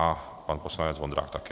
A pan poslanec Vondrák taky.